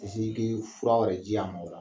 A mi si ka fura wɛrɛ a m'a o la